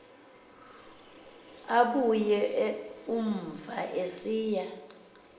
abuya umva esiya